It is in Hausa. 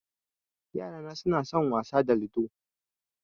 Yarana na son wasa da ludo